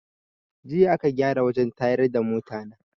Jiya aka gyara wajen tayar da mota na